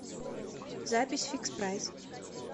запись фикспрайс